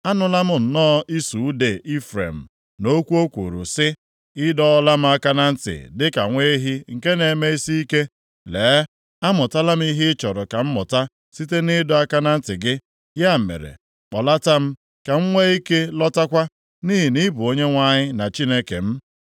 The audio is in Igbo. “Anụla m nnọọ ịsụ ude Ifrem, na okwu o kwuru sị, ‘Ị dọọla m aka na ntị dịka nwa ehi nke na-eme isiike. Lee, amụtala m ihe ị chọrọ ka m mụta site nʼịdọ aka na ntị gị. Ya mere, kpọlata m, ka m nwee ike lọtakwa, nʼihi na ị bụ Onyenwe anyị na Chineke m.